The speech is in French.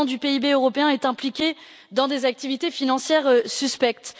Un pour cent du PIB européen est impliqué dans des activités financières suspectes.